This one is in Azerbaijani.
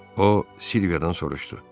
O Silviyadan soruşdu: